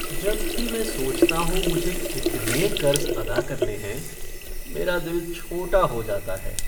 जब भी मैं सोचता हूँ मुझे कितने कर्ज़ अदा करने हैं, मेरा दिल छोटा हो जाता है।